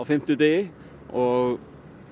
fimmtudegi og